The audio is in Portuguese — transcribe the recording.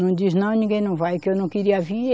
Não diz, não, ninguém não vai, que eu não queria vir.